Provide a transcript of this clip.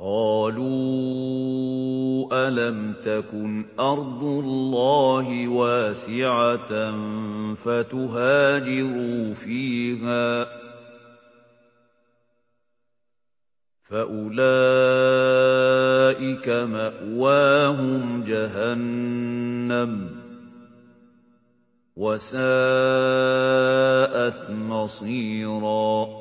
قَالُوا أَلَمْ تَكُنْ أَرْضُ اللَّهِ وَاسِعَةً فَتُهَاجِرُوا فِيهَا ۚ فَأُولَٰئِكَ مَأْوَاهُمْ جَهَنَّمُ ۖ وَسَاءَتْ مَصِيرًا